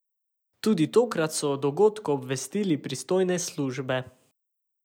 Tudi tokrat so o dogodku obvestili pristojne službe.